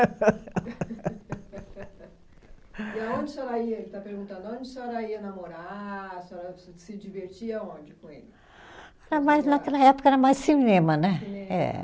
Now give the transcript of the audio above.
E aonde a senhora ia, ele está perguntando, aonde a senhora ia namorar, a senhora se divertia aonde com ele? Era mais, naquela época era mais cinema, né. Eh